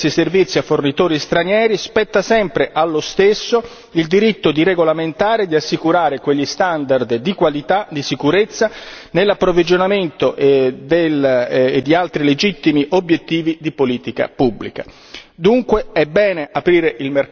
E anche se uno Stato dovesse decidere di aprire questi servizi a fornitori stranieri, spetta sempre allo stesso il diritto di regolamentare e di assicurare quegli standard di qualità, di sicurezza nell'approvvigionamento di altri legittimi obiettivi di politica pubblica.